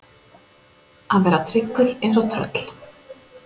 Að vera tryggur eins og tröll